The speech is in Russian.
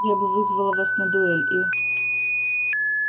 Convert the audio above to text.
я бы вызвала вас на дуэль и